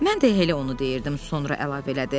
Mən də elə onu deyirdim, sonra əlavə elədi.